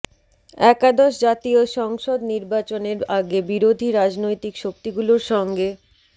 একাদশ জাতীয় সংসদ নির্বাচনের আগে বিরোধী রাজনৈতিক শক্তিগুলোর সঙ্গে